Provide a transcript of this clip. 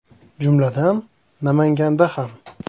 Jumladan, Namanganda ham.